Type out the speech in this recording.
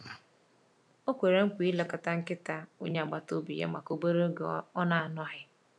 Ọ kwere nkwa ilekọta nkịta onye agbata obi ya maka obere oge ọ na-anọghị.